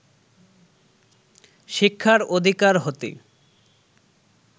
শিক্ষার অধিকার হতে